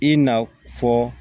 I na fɔ